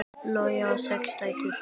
Logi á sex dætur.